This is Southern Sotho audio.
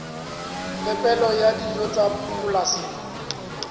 phepelo ya dijo tsa polasing